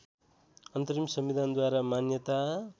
अन्तरिम संविधानद्वारा मान्यता